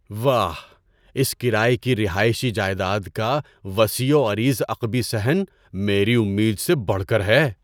واہ، اس کرایے کی رہائشی جائیداد کا وسیع و عریض عقبی صحن میری امید سے بڑھ کر ہے!